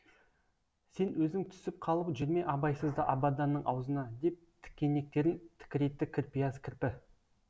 сен өзің түсіп қалып жүрме абайсызда абаданның аузына деп тікенектерін тікірейтті кірпияз кірпі